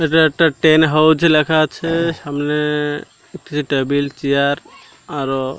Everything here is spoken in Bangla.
এটা একটা টেন হাউজ লেখা আছে সামনে দেখতেসি টেবিল চেয়ার আরো--